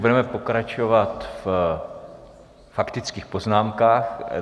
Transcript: Budeme pokračovat ve faktických poznámkách.